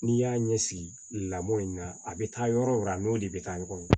N'i y'a ɲɛsi lamɔ in na a bɛ taa yɔrɔ yɔrɔ a n'o de bɛ taa ɲɔgɔn na